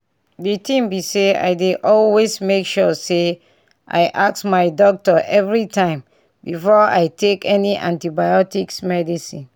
di tin be say i dey always make sure say i ask my doctor everytime before i take any antibiotics medicine